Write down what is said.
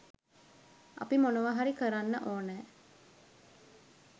අපි මොනවා හරි කරන්න ඔනෑ